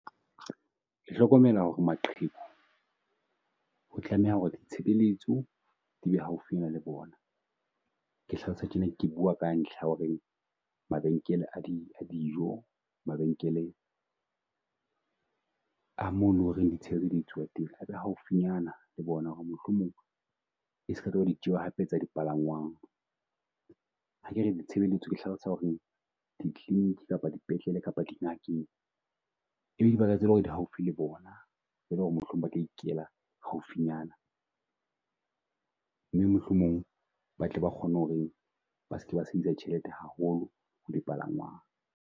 Ke hlokomela ho re maqheku ho tlameha ho re ditshebeletso di be haufinyana le bona. Ke hlalosa tjena ke bua ka ntlha ya ho re mabenkele a di a dijo, mabenkele a mo lo reng di tshebeletso di etsuwa teng a be haufinyana le bona ho re mohlomong e ska tloha hape e ba ditjeo tsa di palangwangl. Ha ke re ditshebeletso ke hlalosa ho re di-clinic kapa dipetlele kapa di ngakeng e be dibaka tse leng ho re di haufi le bona, mohlomong ba ka ikela haufinyana. Mme mohlomong batle ba kgone ho re ba seke ba sebedisa ditjhelete haholo le palangwang.